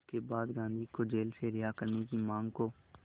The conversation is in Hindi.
इसके बाद गांधी को जेल से रिहा करने की मांग को